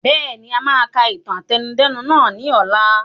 Bẹ́ẹ̀ni, a máa ka ìtàn àtẹnudẹ́nu nàá ni ọ̀la.